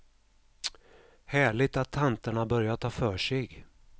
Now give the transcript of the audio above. Härligt att tanterna börjar ta för sig.